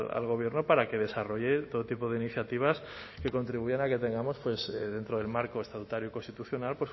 al gobierno para que desarrolle todo tipo de iniciativas que contribuyan a que tengamos dentro del marco estatutario constitucional